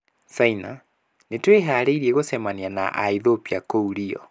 Saina: Nĩ tũĩharĩirie gũcemania na Aethiopia kũu Rio.